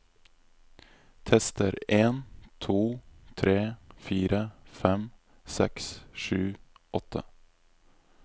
Tester en to tre fire fem seks sju åtte